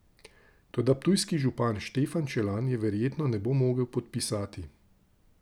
Toda ptujski župan Štefan Čelan je verjetno ne bo mogel podpisati.